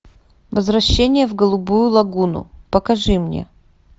возвращение в голубую лагуну покажи мне